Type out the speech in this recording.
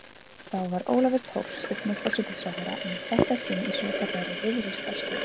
Þá var Ólafur Thors einnig forsætisráðherra en í þetta sinn í svokallaðri Viðreisnarstjórn.